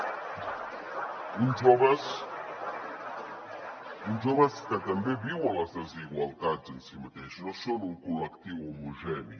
uns joves que també viuen les desigualtats en si mateix no són un col·lectiu homogeni